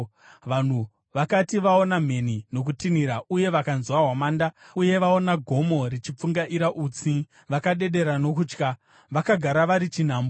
Vanhu vakati vaona mheni nokutinhira uye vanzwa hwamanda, uye vaona gomo richipfungaira utsi, vakadedera nokutya. Vakagara vari chinhambwe